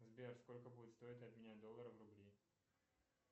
сбер сколько будет стоить обменять доллары в рубли